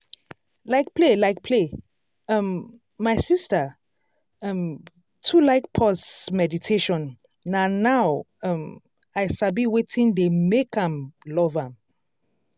like play like play um my sister um too like pause meditation na now um i sabi wetin dey make am love am.